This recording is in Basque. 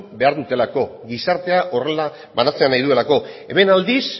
behar dutelako gizartea horrela banatzea nahi duelako hemen aldiz